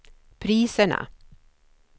priserna